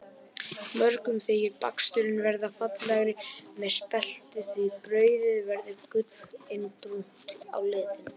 Mörgum þykir baksturinn verða fallegri með spelti því brauðið verður gullinbrúnt á lit.